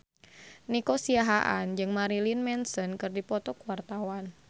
Nico Siahaan jeung Marilyn Manson keur dipoto ku wartawan